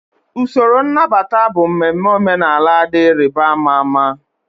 Usoro nnabata bụ mmemme omenala dị ịrịba ama ama.